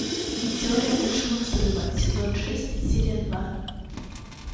теория большого взрыва сезон шесть серия два